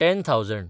ten thousand